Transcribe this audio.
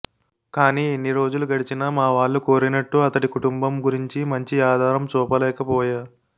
కానీ ఎన్నిరోజులు గడిచినా మావాళ్లు కోరినట్టు అతడి కుటుంబం గురించి మంచి ఆధారం చూపలేకపోయా